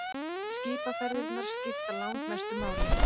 Skipaferðirnar skipta langmestu máli.